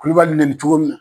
Kulubali neni cogo min